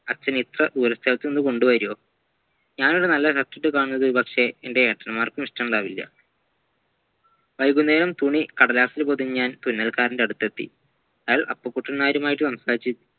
അച്ഛൻ ഇത്ര ദൂരസ്ഥലതുന്നുകൊണ്ടവരുവോ ഞാൻ ഒരു നല്ല dress ഇട്ട് കാണുന്നത് ഒരുപക്ഷെ എന്റെ അച്ചന്മാർക്കും ഇഷ്ട്ടമുണ്ടാവില്ല വൈകുന്നേരം തുണി കടലാസിൽ പൊതിഞ്ഞ് ഞാൻ തുന്നൽക്കാരൻ്റെ അടുത്തെത്തി അയാൾ അപ്പുകുട്ടൻ നായരുമായിട്ട് സംസാരിച്ച